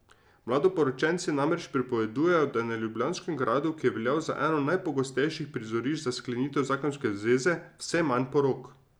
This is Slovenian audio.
Mladoporočenci namreč pripovedujejo, da je na Ljubljanskem gradu, ki je veljal za eno najpogostejših prizorišč za sklenitev zakonske zveze, vse manj porok.